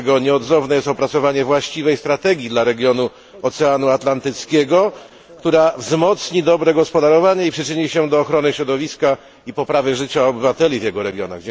Dlatego nieodzowne jest opracowanie właściwej strategii dla regionu Oceanu Atlantyckiego, która wzmocni dobre gospodarowanie i przyczyni się do ochrony środowiska i poprawy życia obywateli tego regionu.